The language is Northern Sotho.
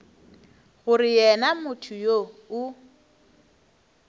gore yena motho yoo o